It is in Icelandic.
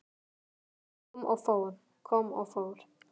Ég kom og fór, kom og fór.